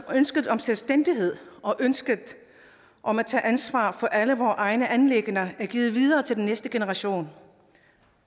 ønsket om selvstændighed og ønsket om at tage ansvar for alle vore egne anliggender er givet videre til den næste generation